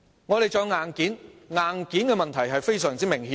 我們亦需要硬件，硬件的問題是非常明顯的。